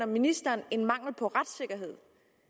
ministeren en mangel på retssikkerhed